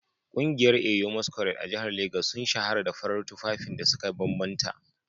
Kungiyar Eyo masquerade a jihar Legas sun shahara da farar tufafin da suka bambanta